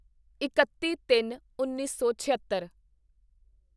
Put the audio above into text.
ਇਕੱਤੀਤਿੰਨਉੱਨੀ ਸੌ ਛਿਅੱਤਰ